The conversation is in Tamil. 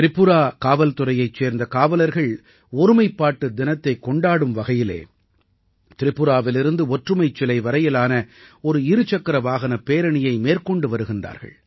திரிபுரா காவல்துறையைச் சேர்ந்த காவலர்கள் ஒருமைப்பாட்டு தினத்தைக் கொண்டாடும் வகையிலே திரிபுராவிலிருந்து ஒற்றுமைச் சிலை வரையிலான ஒரு இரு சக்கர வாகனப் பேரணியை மேற்கொண்டு வருகிறார்கள்